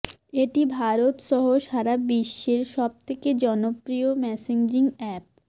এটি ভারত সহ সারা বিশ্বের সব থেকে জনপ্রিয় মেসেঞ্জিং অ্যাপ